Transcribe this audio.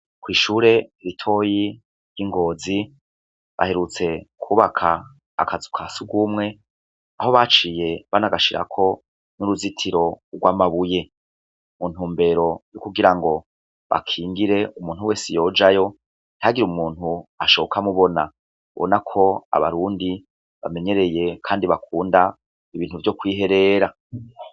Kwishure ritoyi ry'ingozi baherutse kwubaka akazu ka sugumwe aho baciye banagashirako n'uruzitiro rw'amabuye mu ntumbero yo kugira ngo bakingire umuntu wese yojayo ntihagira umuntu ashoka amubona ubona ko abarundi bamenyereye kandi bakunda ibintu vyo kwiherera.